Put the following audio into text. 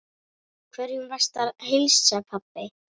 Hverjum varstu að heilsa, pabbi?